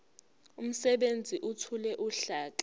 umsebenzi ethule uhlaka